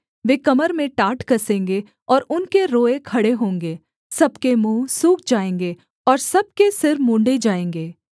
वे कमर में टाट कसेंगे और उनके रोएँ खड़े होंगे सब के मुँह सूख जाएँगे और सब के सिर मुँण्ड़े जाएँगे